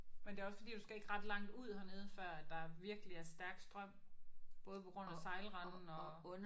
Men det er også fordi du skal ikke ret langt ud hernede før at der virkelig er stærk strøm både på grund af sejlranden og